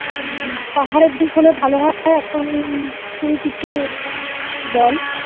পাহাড়ের দিক হলে ভালো হয় এখন তুই কিছু বল